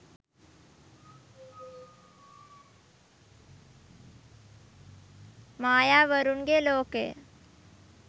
maya warunge lokaya